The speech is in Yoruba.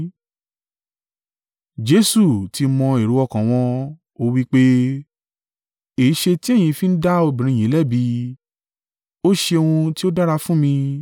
Jesu ti mọ èrò ọkàn wọn, ó wí pé, “Èéṣe ti ẹ̀yin fi ń dá obìnrin yìí lẹ́bi? Ó ṣe ohun tí ó dára fún mi.